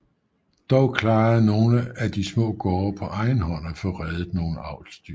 Dog klarede nogle af de små gårde på egen hånd at få reddet nogle avlsdyr